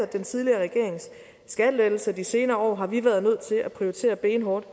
den tidligere regerings skattelettelser de senere år har vi været nødt til at prioritere benhårdt